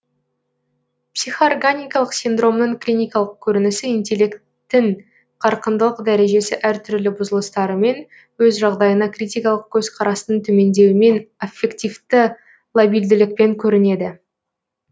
психоорганикалық синдромның клиникалық көрінісі интеллекттің қарқындылық дәрежесі әртүрлі бұзылыстарымен өз жағдайына критикалық көзқарастың төмендеуімен аффективті лабильділікпен көрінеді